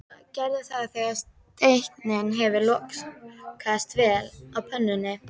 Gerðu það þegar steikin hefur lokast vel á pönnunni.